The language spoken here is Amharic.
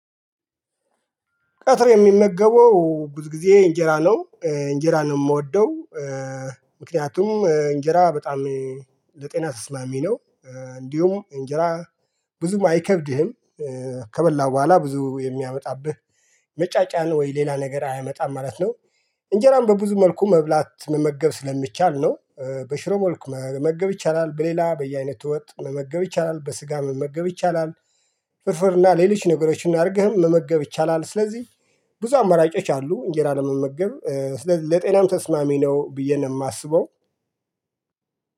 ቀጥር የምመገበው ብዙ ጊዜ እንጀራ ነው እንጀራ ነው የምወደው። ምክንያቱም እንጀራ በጣም ለጤና ተሰማሚ ነው። እንዲሁም እንጀራ ብዙም አይከብድህም ከበላህ በኋላ ብዙ የሚያመጣብህ መጫጫን ወይ ሌላ ነገር አያመጣም ማለት ነው። እንጀራን በብዙ መልኩ መብላት መመገብ ስለሚቻል ነው በሽሮ መልኩ መመገብ ይቻላል በሌላ በየአይነት ወጥ መመገብ ይቻላል በስጋ መመገብ ይቻላል። ፍርፍርና ሌሎች ነገሮችን አድርገህም መመገብ ይቻላል ስለዚህ ብዙ አማራጮች አሉ። እንጀራ ለመመገብ ስለዚህ ለጤናም ተስማሚ ነው ብዬ ነው የማስበው